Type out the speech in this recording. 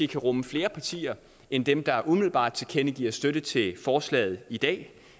kan rumme flere partier end dem der umiddelbart tilkendegiver støtte til forslaget i dag